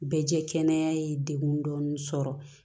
Bɛɛ jɛ kɛnɛya ye degun dɔɔni sɔrɔ